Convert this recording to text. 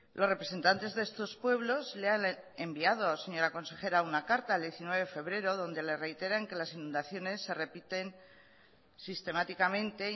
los representantes de estos pueblos le han enviado señora consejera una carta el diecinueve de febrero donde le reiteran que las inundaciones se repiten sistemáticamente